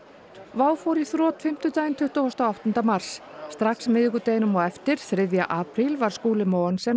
WOW fór í þrot fimmtudaginn tuttugasta og áttunda mars strax miðvikudaginn á eftir þriðja apríl var Skúli Mogensen